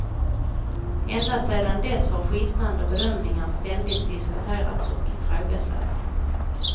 Ända sedan dess har skiftande bedömningar ständigt diskuterats och ifrågasatts.